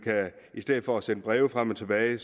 i stedet for at sende breve frem og tilbage